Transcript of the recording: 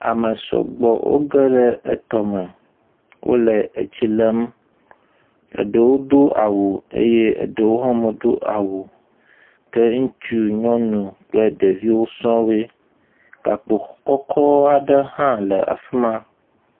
ame sɔgbɔ wó geɖe etɔme wóle etsilem eɖewo dó awu eye eɖewo hã medó awu o ke ŋutsu nyɔnu kple ɖevi sɔŋ woe gakpo kɔkɔ ɖe ha le afima